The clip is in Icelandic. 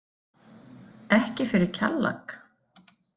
Ekki fyrir Kjallak?